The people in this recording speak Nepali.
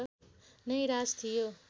नै राज थियो